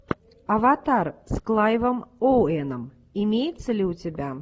аватар с клайвом оуэном имеется ли у тебя